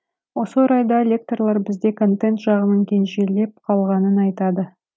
осы орайда лекторлар бізде контент жағының кенжелеп қалғанын айтады